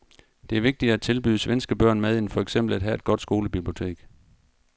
Det er vigtigere at tilbyde svenske børn mad end for eksempel at have et godt skolebibliotek.